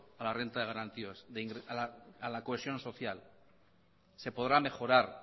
a la cohesión social se podrá mejorar